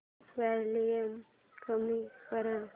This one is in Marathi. वॉल्यूम कमी कर